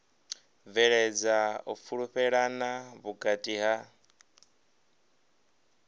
bveledza u fhulufhelana vhukati ha